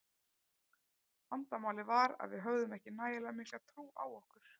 Vandamálið var að við höfðum ekki nægilega mikla trú á okkur.